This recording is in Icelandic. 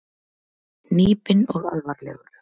Hnípinn og alvarlegur.